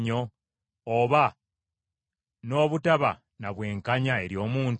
oba n’obutaba na bwenkanya eri omuntu?